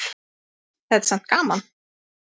Þetta er samt gaman.